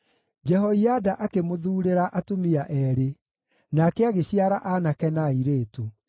Jehoiada akĩmũthuurĩra atumia eerĩ, nake agĩciara aanake na airĩtu.